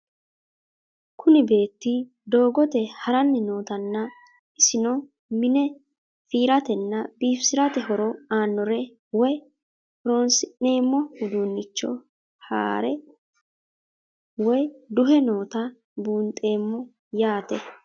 Kuni beeti doogote harani nootana isino mine firatena bifisirae horo anore woyi horonsinemo udunicho haare woyi duhe noota bunxemo yaate?